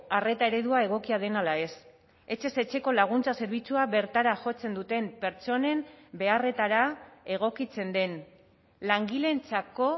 arreta eredua egokia den ala ez etxez etxeko laguntza zerbitzua bertara jotzen duten pertsonen beharretara egokitzen den langileentzako